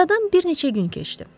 Aradan bir neçə gün keçdi.